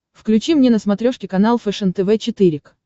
включи мне на смотрешке канал фэшен тв четыре к